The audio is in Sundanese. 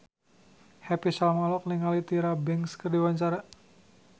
Happy Salma olohok ningali Tyra Banks keur diwawancara